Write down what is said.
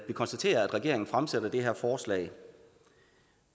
vi konstaterer at regeringen fremsætter det her forslag